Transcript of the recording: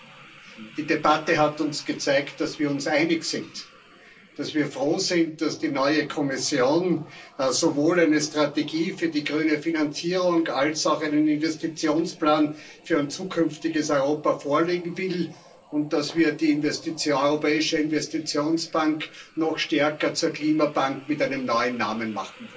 Herr Präsident! Die Debatte hat uns gezeigt, dass wir uns einig sind, dass wir froh sind, dass die neue Kommission sowohl eine Strategie für die grüne Finanzierung als auch einen Investitionsplan für ein zukünftiges Europa vorlegen will und dass wir die Europäische Investitionsbank noch stärker zur Klimabank mit einem neuen Namen machen.